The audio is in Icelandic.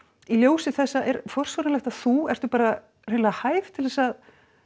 í ljósi þessa er forsvaranlegt að þú ertu bara hreinlega hæf til þess að